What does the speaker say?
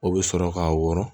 O bɛ sɔrɔ k'a wɔrɔn